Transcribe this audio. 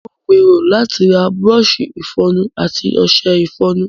Mo ń gbèrò láti ra bùrọ̀ọ̀ṣi ìfọnu àti ọ̀ṣẹ ìfọnu.